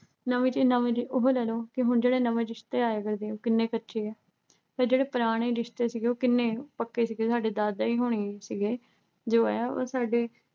ਨਵੇਂ ਚ ਨਵੇਂ ਚ ਉਹੋ ਲੈ ਲਓ ਕਿ ਹੁਣ ਜਿਹੜੇ ਨਵੇਂ ਰਿਸ਼ਤੇ ਆਏ ਫਿਰਦੇ ਆ ਕਿੰਨੇ ਕੱਚੇ ਆ ਤੇ ਜਿਹੜੇ ਪੁਰਾਣੇ ਰਿਸ਼ਤੇ ਸੀਗੇ ਕਿੰਨੇ ਪੱਕੇ ਸੀਗੇ ਸਾਡੇ ਦਾਦਾ ਜੀ ਹੁਣੀ ਸੀਗੇ ਜੋ ਐ ਉਹ ਸਾਡੇ